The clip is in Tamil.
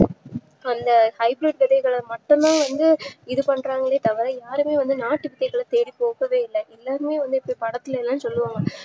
இந்த high bridge விதைகள மட்டுமே வந்து இதுபண்றாங்களே தவிர யாருமே வந்து நாட்டு விதைகள பத்திபேசவே இல்ல எல்லாமே வந்து படத்துலையே சொல்றாக